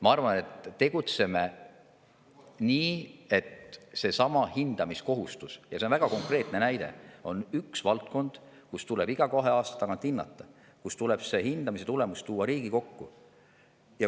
Ma arvan, et tegutseme nii, et seesama hindamine – ja see on väga konkreetne näide – on üks kohustus, mida tuleb iga kahe aasta tagant teha ja see hindamise tulemus tuleb tuua Riigikokku.